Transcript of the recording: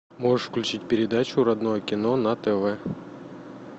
можешь включить передачу родное кино на тв